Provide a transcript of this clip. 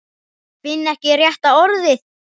Finn ekki rétta orðið.